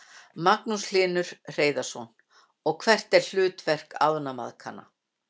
Magnús Hlynur Hreiðarsson: Og hvert er hlutverk ánamaðkanna?